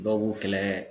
Dɔw b'u kɛlɛ